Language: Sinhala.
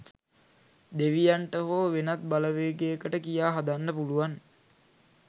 දෙවියන්ට හො වෙනත් බලවේගයකට කියා හදන්න පුලුවන්